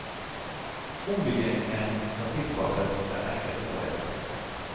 Ombyggingen må tilpasses den enkelte modell.